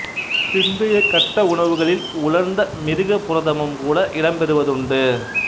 பிந்தைய கட்ட உணவுகளில் உலர்ந்த மிருகப் புரதமும் கூட இடம்பெறுவதுண்டு